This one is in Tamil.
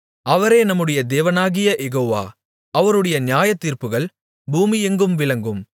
அவரே நம்முடைய தேவனாகிய யெகோவா அவருடைய நியாயத்தீர்ப்புகள் பூமியெங்கும் விளங்கும்